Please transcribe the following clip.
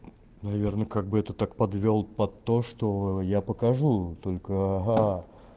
наверное как бы это так подвёл под то что я покажу только а